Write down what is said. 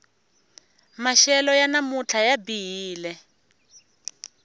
maxelo ya namuntlha ya bihile